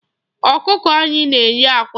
Ọkụkọ anyị na-enye àkwá.